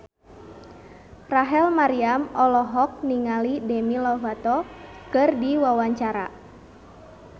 Rachel Maryam olohok ningali Demi Lovato keur diwawancara